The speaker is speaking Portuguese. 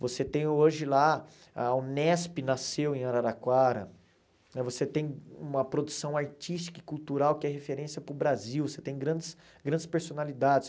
Você tem hoje lá, a Unesp nasceu em Araraquara, você tem uma produção artística e cultural que é referência para o Brasil, você tem grandes grandes personalidades.